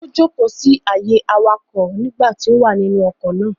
Ó jókọ̀ọ́ sí àyè awakọ̀ nígbà tí ó wọ inú ọkọ̀ náà